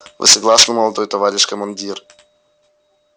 вы согласны молодой товарищ командир